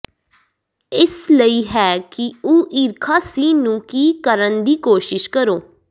ਇਸ ਲਈ ਹੈ ਕਿ ਉਹ ਈਰਖਾ ਸੀ ਨੂੰ ਕੀ ਕਰਨ ਦੀ ਕੋਸ਼ਿਸ਼ ਕਰੋ